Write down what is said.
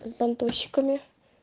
с бандурщиками